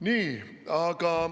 Nii.